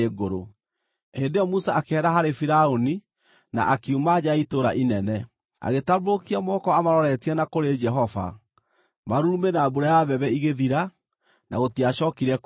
Hĩndĩ ĩyo Musa akĩehera harĩ Firaũni na akiuma nja ya itũũra inene. Agĩtambũrũkia moko amaroretie na kũrĩ Jehova; marurumĩ na mbura ya mbembe igĩthira, na gũtiacookire kuura.